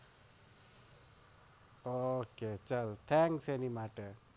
ઓહહક ચાલ thanks એની માટે